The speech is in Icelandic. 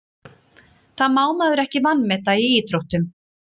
Það má maður ekki vanmeta í íþróttum.